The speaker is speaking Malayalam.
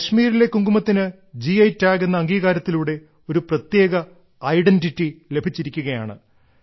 കശ്മീരിലെ കുങ്കുമത്തിന് ഗി ടാഗ് എന്ന അംഗീകാരത്തിലൂടെ ഒരു പ്രത്യേക ഐഡന്റിറ്റി ലഭിച്ചിരിക്കുകയാണ്